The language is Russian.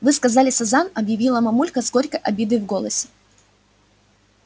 вы сказали сазан объяснила мамулька с горькой обидой в голосе